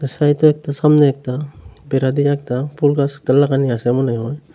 ছাইডে একতা সামনে একতা বেড়া দিয়ে একতা ফুল গাছ লাগানি আসে মনে হয়।